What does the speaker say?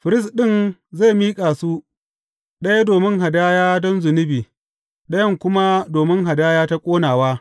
Firist ɗin zai miƙa su, ɗaya domin hadaya don zunubi, ɗayan kuma domin hadaya ta ƙonawa.